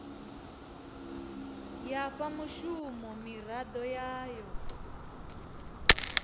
ya fha mushumo miraḓo yayo